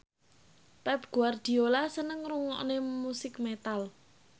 Pep Guardiola seneng ngrungokne musik metal